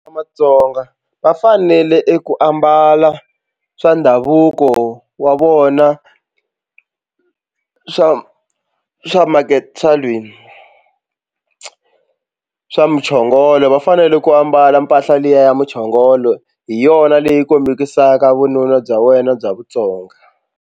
Matsonga va fanele ku ambala swa ndhavuko wa vona swa swa swa lweyi swa muchongolo va fanele ku ambala mpahla liya ya muchongolo hi yona leyi kombisaka vununa bya wena bya vutsonga.